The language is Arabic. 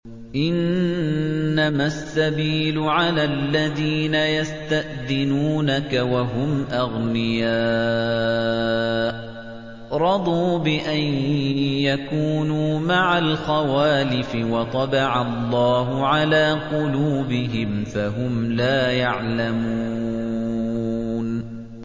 ۞ إِنَّمَا السَّبِيلُ عَلَى الَّذِينَ يَسْتَأْذِنُونَكَ وَهُمْ أَغْنِيَاءُ ۚ رَضُوا بِأَن يَكُونُوا مَعَ الْخَوَالِفِ وَطَبَعَ اللَّهُ عَلَىٰ قُلُوبِهِمْ فَهُمْ لَا يَعْلَمُونَ